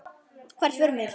Hvert förum við?